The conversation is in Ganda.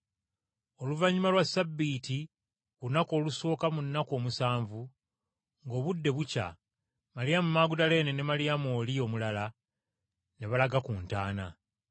Oluvannyuma lwa Ssabbiiti ku lunaku olusooka mu nnaku omusanvu, ng’obudde bukya, Maliyamu Magudaleene ne Maliyamu oli omulala ne balaga ku ntaana.